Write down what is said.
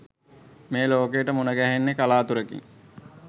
මේ ලෝකයට මුණගැහෙන්නේ කළාතුරකින්.